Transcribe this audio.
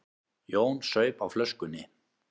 Jón saup á flöskunni.